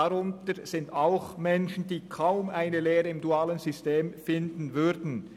Darunter sind auch Menschen, die im dualen System kaum eine Lehrstelle finden würden.